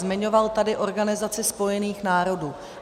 Zmiňoval tady Organizaci spojených národů.